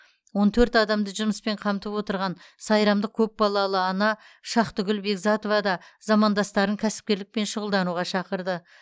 он төрт адамды жұмыспен қамтып отырған сайрамдық көпбалалы ана шахтыкүл бегзатова да замандастарын кәсіпкерлікпен шұғылдануға шақырды